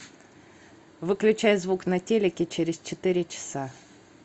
выключай звук на телике через четыре часа